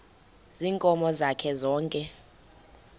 ziinkomo zakhe zonke